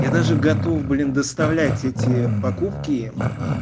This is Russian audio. я даже готов блин доставлять эти покупки